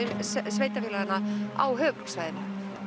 sveitafélaganna á höfuðborgarsvæðinu